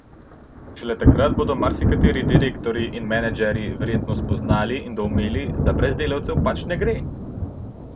Šele takrat bodo marsikateri direktorji in menedžerji verjetno spoznali in doumeli, da brez delavcev pač ne gre!